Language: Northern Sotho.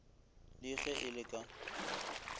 le ge e le ka